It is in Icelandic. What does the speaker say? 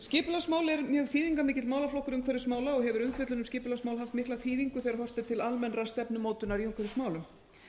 skipulagsmál eru mjög þýðingarmikill málaflokkur umhverfismála og hefur umfjöllun um skipulagsmál haft mikla þýðingu þegar horft er til almennrar stefnumótunar í umhverfismálum